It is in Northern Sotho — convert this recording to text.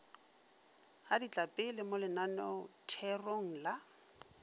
ga ditlapele mo lenaneotherong la